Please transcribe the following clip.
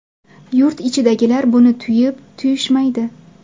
Yurt ichidagilar buni tuyib, tuyishmaydi.